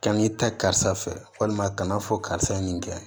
Kan'i ta karisa fɛ walima kana fɔ karisa ye nin kɛ